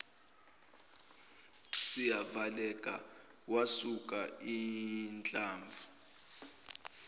sivaleka wasuka inhlamvu